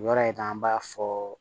Yɔrɔ in na an b'a fɔ